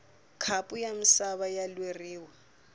khapu ya misava ya lweriwa